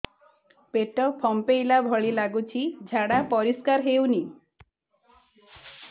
ପେଟ ଫମ୍ପେଇଲା ଭଳି ଲାଗୁଛି ଝାଡା ପରିସ୍କାର ହେଉନି